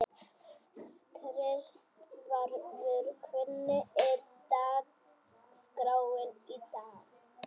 Kristvarður, hvernig er dagskráin í dag?